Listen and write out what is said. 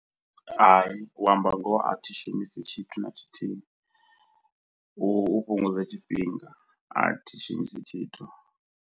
Hai u amba ngoho a thi shumisi tshithu na tshithihi u u fhungudza tshifhinga a thi shumisi tshithu.